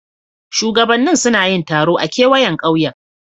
Shugabannin suna yin taro a kewayen kauyen.